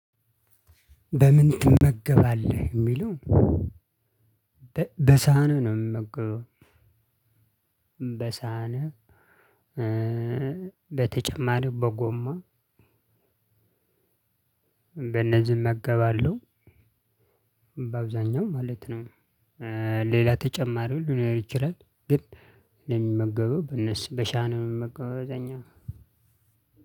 በምን ትመገባለህ ለሚለው? በሳህን ነው የምመገበው። በሳን በተጨማሪ በጎማ በነዚህ እመገባለሁ። በአብዛኛው ማለት ነው። ሌላ ተጨማሪ ሊኖር ይችላል። ግን እኔ የሚመገበው በነሱ በሳን ነው የምመገበው። አብዛኛውን